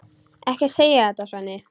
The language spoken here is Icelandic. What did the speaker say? Ekki segja þetta, Svenni.